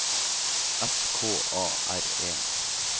S K A R E